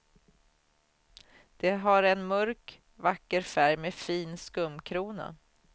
Det har en mörk, vacker färg med fin skumkrona.